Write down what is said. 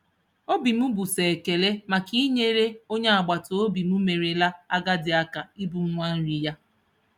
Obi m bụ sọ ekele maka inyere onye agbataobi m merela agadi aka ibu ngwa nri ya.